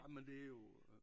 Ah men det jo